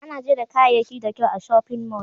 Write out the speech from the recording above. ana gera kayayaki da kyau a shopping mall.